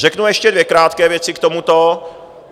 Řeknu ještě dvě krátké věci k tomuto.